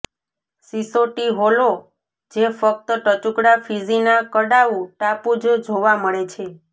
સીસોટી હોલો જે ફક્ત ટચુકડા ફીજીનાં કડાવુ ટાપુ જ જોવા મળે છે